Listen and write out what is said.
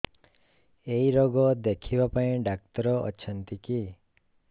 ଏଇ ରୋଗ ଦେଖିବା ପାଇଁ ଡ଼ାକ୍ତର ଅଛନ୍ତି କି